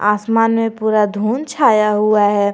आसमान में पूरा धुंध छाया हुआ है।